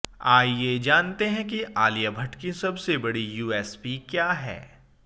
आइए जानते हैं कि अलिया भट्ट की सबसे बड़ी यूएसपी क्या है